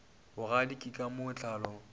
bogadi ke ka mo tlhalo